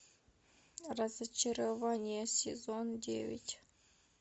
разочарование сезон девять